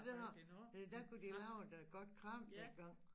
Den har der kunne de lave et godt kram dengang